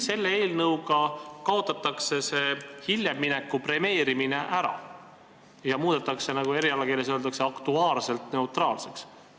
Selle eelnõu kohaselt kaotatakse see hiljem mineku premeerimine ära ja muudetakse, nagu erialakeeles öeldakse, aktuaarselt neutraalseks.